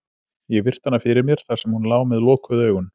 Ég virti hana fyrir mér, þar sem hún lá með lokuð augun.